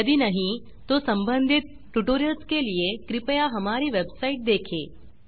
यदि नहीं तो संबंधित ट्यूटोरियल्स के लिए कृपया हमारी वेबसाइट httpspoken tutorialorg देखें